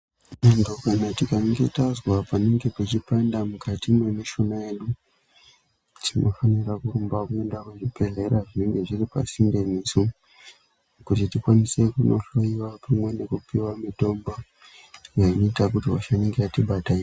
Vandu kana tikange tanzwa panenge pachipanda mukati mwemi shuna yedu tinofanirwa kurumba kuenda kuzvibhedhleya zvinenge zviri pasinde netsu kuti tikwanise kunohloyiwa tikwanise pamwe nekupiwa mitombo inoita kuti hosha inenge hatibata ii...